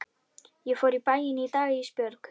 Ég fór í bæinn í dag Ísbjörg.